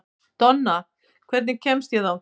Donna, hvernig kemst ég þangað?